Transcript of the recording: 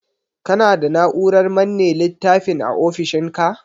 Kana da Na'urar manne littafin a ofishinka?